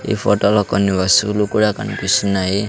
ఈ ఫొటోలో కొన్ని వస్తువులు కూడా కనిపిస్తున్నాయి.